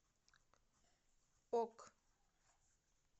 ок